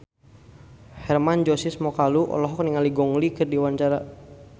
Hermann Josis Mokalu olohok ningali Gong Li keur diwawancara